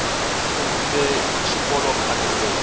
ndzi sungurile xikolokhale ngopfu